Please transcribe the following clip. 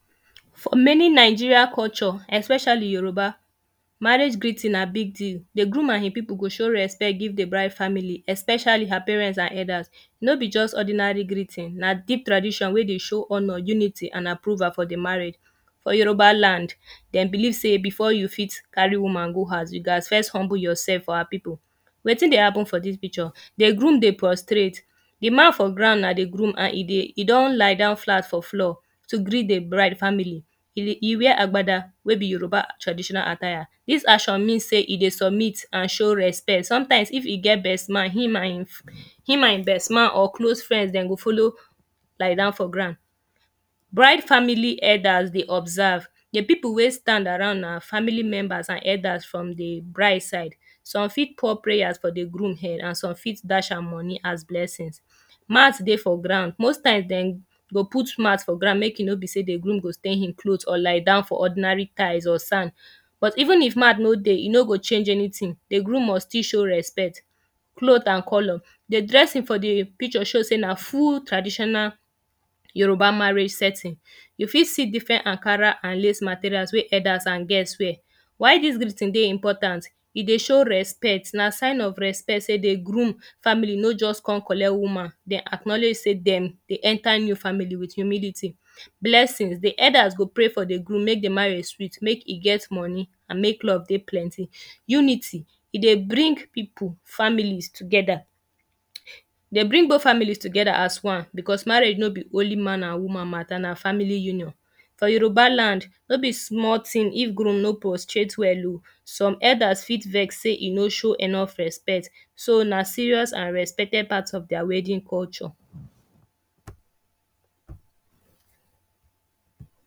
For many Nigeria culture especially yoruba, marriage greeting na big deal. The groom and e people go show respect give the bride family especially her parents and elders. No be just ordinary greeting. Na deep tradition wey dey show honour, unity and approval for the marriage. For yoruba land, dem believe sey before you fit carry woman go house you gat first humble yourself for her people. Wetin dey happen for dis picture? The groom dey postrate. The man for ground na the groom and e dey e don lie down flat for floor to greet the bride family. E wear agbada wey be yoruba traditional atire. Dis action mean sey e dey submit and show respect. Sometimes, if e get best man, him and e him and e best man or close friend go follow lie down for ground. Bride family elders dey observe. The people wey stand around na family members and elders from the bride side. Some fit pour prayers for the groom head and some fit dash am money as blessings. Mat dey for ground. Most times den go put mat for ground make e no be sey the groom go stain e cloth or lie down for ordinary tiles or sand. But even if mat no dey, e no go change anything. The groom must still show respect. Cloth and colour, the dressing the picture dey show sey na full traditional yoruba marriage setting. You fit see different ankara and lace materials wey elders and guest wear. Why dis greetings dey important? E dey show respect. Na sign of respect sey the groom family no just con collect woman. Dem acknowledge sey dem dey enter new family with humility, blessing dey. Elders go pray for the groom make the marriage sweet. Make e get money and make love dey plenty. Unity e dey bring people families together. They bring both families together as one because marriage no be only man and woman matter. Na family union. For yoruba land, no be small thing if groom no postrate well oh. Some elders fit vex sey e no show enough respect. So na serious and respected part of their wedding culture.